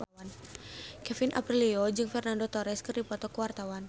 Kevin Aprilio jeung Fernando Torres keur dipoto ku wartawan